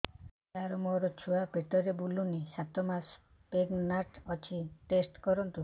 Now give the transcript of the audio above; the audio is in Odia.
ସାର ମୋର ଛୁଆ ପେଟରେ ବୁଲୁନି ସାତ ମାସ ପ୍ରେଗନାଂଟ ଅଛି ଟେଷ୍ଟ କରନ୍ତୁ